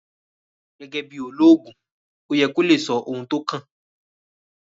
Gẹ́gẹ́ bí olóògùn ó yẹ kí o lè sọ ohun tó kàn